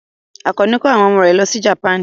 Àkànní ko àwọn ọmọ rẹ̀ lọ sí Japan.